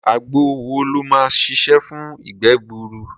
Àgbo wo ló máa ṣiṣẹ́ fún ìgbẹ́ gbuuru?